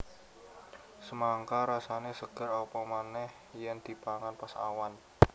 Semangka rasané seger apa manéh yèn dipangan pas awan